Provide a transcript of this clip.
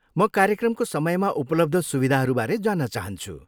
म कार्यक्रमको समयमा उपलब्ध सुविधाहरूबारे जान्न चाहन्छु।